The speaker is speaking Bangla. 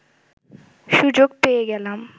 সুযোগ পেয়ে গেলাম